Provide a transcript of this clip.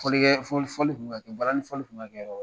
Fɔlikɛ fɔli fɔli tun kɛ, balani fɔli kun bɛ ka kɛ